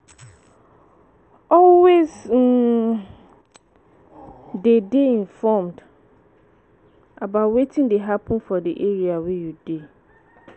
Always um dey dey informed about wetin dey happen for di area wey you dey